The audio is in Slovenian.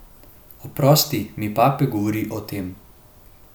Oprosti mi pape govori o tem.